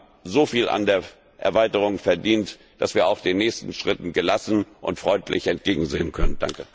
Wir haben so viel an der Erweiterung verdient, dass wir auch den nächsten Schritten gelassen und freundlich entgegensehen können!